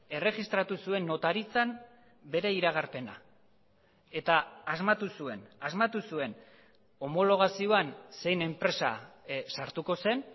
erregistratu zuen notaritzan bere iragarpena eta asmatu zuen asmatu zuen homologazioan zein enpresa sartuko zen